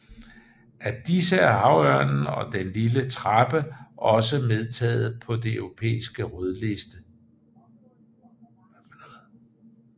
Af disse er havørnen og den lille trappe også optaget på den europæiske rødliste